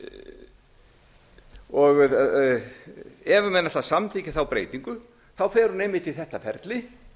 ef menn ætla að samþykkja þá breytingu fer hún einmitt í þetta ferli